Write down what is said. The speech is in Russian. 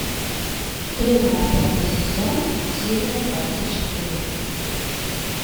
стрела пятый сезон серия двадцать четыре